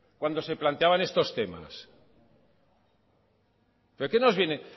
cuando se planteaban estos temas pero qué nos viene